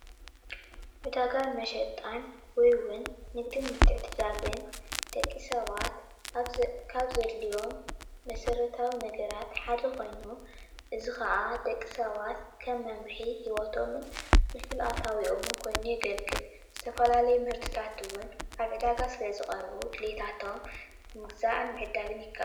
ዕዳጋን መሽጣን ወይ እዉን ንግድን ምትዕድዳግን ደቂ ሰባት ካብ ዘድልዮም መሰረታዊ ነገራት ሓደ ኮይኑ እዚ ከዓ ደቂ ሰባት ከም መምርሒ ሂወቶምን ፍልፍል ኣታዊኦምን ኮይኑ የገልግል ዝተፈላለዩ ምህርታት እዉን ኣብ ዕዳጋ ስለ ዝቀርቡ ድሊታቶም ምግዛእን ምዕዳግን ይከኣል።